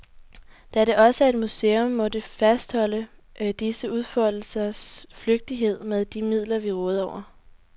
Da det også er et museum, må det fastholde disse udfoldelsers flygtighed med de midler, vi råder over.